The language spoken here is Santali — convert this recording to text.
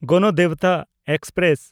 ᱜᱚᱱᱚᱫᱮᱵᱚᱛᱟ ᱮᱠᱥᱯᱨᱮᱥ